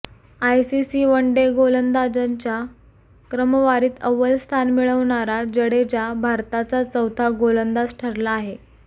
ICC one day गोलंदाजांच्या क्रमवारीत अव्वल स्थान मिळवणारा जडेजा भारताचा चौथा गोलंदाज ठरला आहे